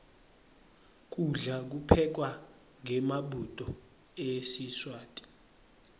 kudla kuphekwa ngemabhudo esiswati